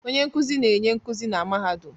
Onye nkuzi na-enye nkuzi na mahadum